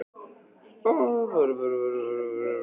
Skýringin væri að mínu mati ofureinföld.